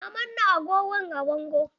Na manna agogon a bango.